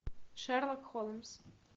шерлок холмс